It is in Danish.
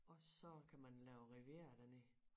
Og så kan man lave riviera dernede